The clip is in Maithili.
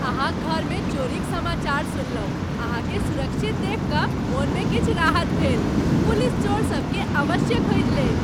अहाँक घरमे चोरिक समाचार सुनलहुँ, अहाँकेँ सुरक्षित देखि कऽ मनमे किछु राहत भेल पुलिस चोरसभकेँ अवश्य खोजि लेत।